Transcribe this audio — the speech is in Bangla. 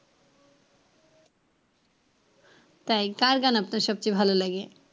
তাই কার গান আপনার সবচেয়ে ভালো লাগে?